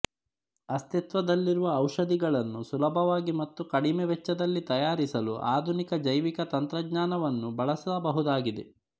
ಅಸ್ತಿತ್ವದಲ್ಲಿರುವ ಔಷಧಗಳನ್ನು ಸುಲಭವಾಗಿ ಮತ್ತು ಕಡಿಮೆ ವೆಚ್ಚದಲ್ಲಿ ತಯಾರಿಸಲು ಆಧುನಿಕ ಜೈವಿಕ ತಂತ್ರಜ್ಞಾನವನ್ನು ಬಳಸಬಹುದಾಗಿದೆ